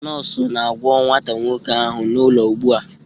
Nọọsụ na-agwọ nwata nwoke ahụ n'ụlọ ugbu a